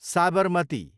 Sabarmati